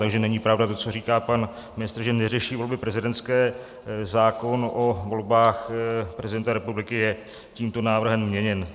Takže není pravda to, co říká pan ministr, že neřeší volby prezidentské, zákon o volbách prezidenta republiky je tímto návrhem měněn.